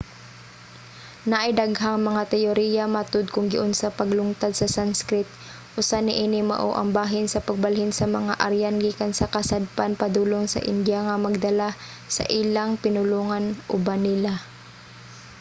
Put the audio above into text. naay daghang mga teyoriya matud kung giunsa paglungtad sa sanskrit. usa niini mao ang bahin sa pagbalhin sa mga aryan gikan sa kasadpan padulong sa india nga nagdala sa ilang pinulongan uban nila